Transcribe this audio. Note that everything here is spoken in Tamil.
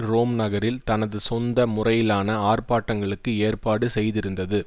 ரோம் நகரில் தனது சொந்த முறையிலான ஆர்ப்பாட்டங்களுக்கு ஏற்பாடு செய்திருந்தது